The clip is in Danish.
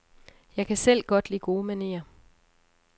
Jeg kan selv godt lide gode manerer.